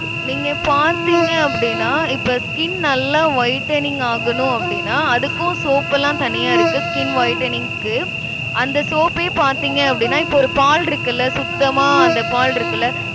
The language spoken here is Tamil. நீங்க பாத்திங்க அப்டினா இப்ப skin நல்லா whitening ஆகணும் அப்படின்னா, அதுக்கும் soap எல்லாம் தனியா இருக்கு, skin whitening க்கு. அந்த soap ஏ பார்த்தீங்க அப்படின்னா, இப்ப ஒரு பால் இருக்குல்ல, சுத்தமா அந்த பால் இருக்குல்ல